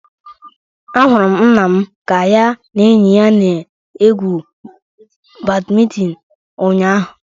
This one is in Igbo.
Ahụrụ m nna m ka ya na enyi ya na-egwu badminton ụnyaahụ